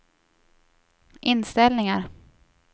inställningar